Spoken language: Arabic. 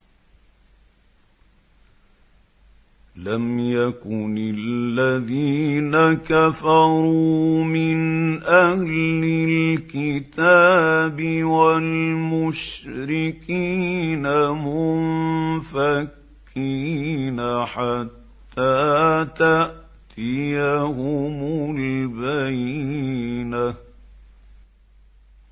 لَمْ يَكُنِ الَّذِينَ كَفَرُوا مِنْ أَهْلِ الْكِتَابِ وَالْمُشْرِكِينَ مُنفَكِّينَ حَتَّىٰ تَأْتِيَهُمُ الْبَيِّنَةُ